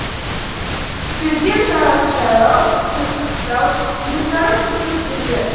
сөйткен жағасы жайлау төсі қыстау кенесары күрт өзгерді